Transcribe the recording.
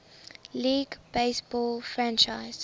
league baseball franchise